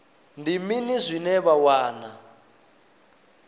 ndi mini zwine vha wana